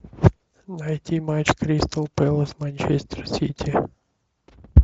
найти матч кристал пэлас манчестер сити